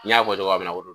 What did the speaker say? N y'a fɔ cogoya min na